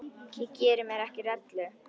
Ég geri mér ekki rellu.